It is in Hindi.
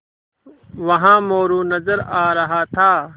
वहाँ मोरू नज़र आ रहा था